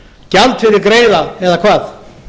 gjald fyrir greiða eða hvað